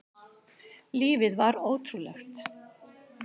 Lífið var ótrúlegt.